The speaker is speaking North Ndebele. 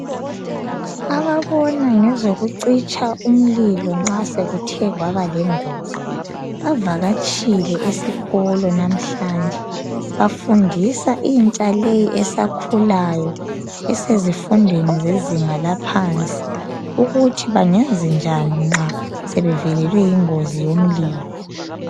Ababona ngezokucitsha umlilo nxa sekuthe kwabalengozi bavakatshile esikolo namhlanje. Bafundisa intsha le esakhulayo esezifundweni zezinga laphansi ukuthi bangenze njani nxa sebevelelwe yingozi yomlilo.